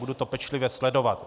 Budu to pečlivě sledovat.